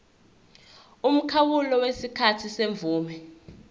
umkhawulo wesikhathi semvume